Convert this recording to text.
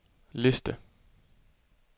liste